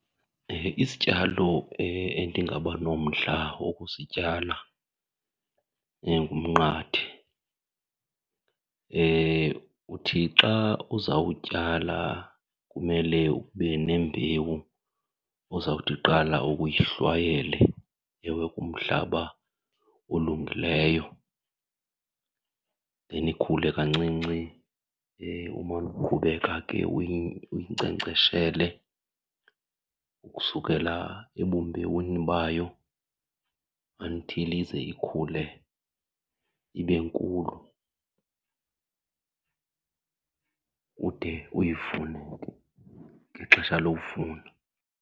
Isityalo endingabanomdla wokusityala ngumnqathe. Uthi xa uzawutyala kumele ube nembewu ozawuthi kuqala uke uyihlwayele, ewe kumhlaba olungileyo then ikhule kancinci. Umane uqhubeka ke uyinkcenkceshele ukusukela ebumbewini bayo until ize ikhule ibe nkulu, ude uyivune ke ngexesha lokuvuna.